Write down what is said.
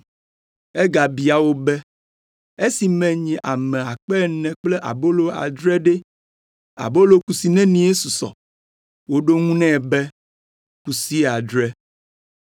Egabia wo be, “Esi menyi ame akpe ene (4,000) kple abolo adre ɖe, abolo kusi nenie susɔ?” Woɖo eŋu nɛ be, “Kusi adre.”